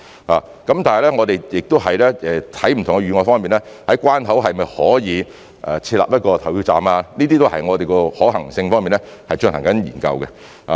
但是，我們在審視不同的預案，可否在關口設立投票站，這些都是我們正在就可行性方面進行研究的。